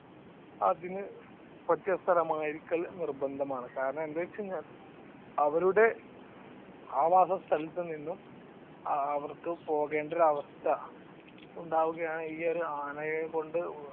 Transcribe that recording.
അതിനു പറ്റിയ സ്ഥലമായിരിക്കൽ നിർബന്ധമാണ് കാരണം എന്താണെന്ന് വെച്ച് കഴിഞ്ഞ അവരുടെ ആവാസസ്ഥലത്തു നിന്നും അവർക്ക് പോകേണ്ട ഒരു അവസ്ഥ ഉണ്ടാവുകയാണ് ഈ ഒരു ആനയെ കൊണ്ട്